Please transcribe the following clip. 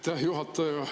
Aitäh, juhataja!